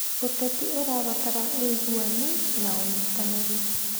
ũteti ũrabatara ũiguani na ũnyitanĩri.